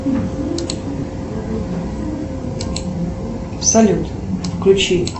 салют включи